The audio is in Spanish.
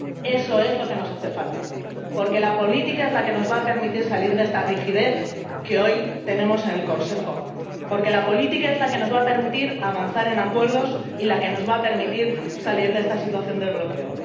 Eso es lo que nos hace falta, porque la política es la que nos va a permitir salir de esta rigidez que hoy tenemos en el Consejo. Porque la política es la que nos va a permitir avanzar en acuerdos y salir de esta situación de bloqueo.